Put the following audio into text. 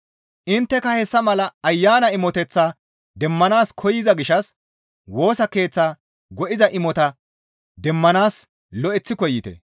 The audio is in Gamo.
Intteka hessa mala Ayanan imoteththata demmanaas koyza gishshas Woosa Keeththa go7iza imotata demmanaas lo7eththi koyite.